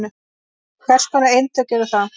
Hvers konar eintök eru það?